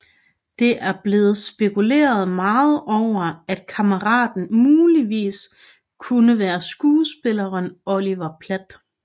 Det er blevet spekuleret meget over at kammeraten muligvis kunne være skuespilleren Oliver Platt